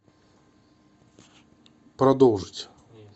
продолжить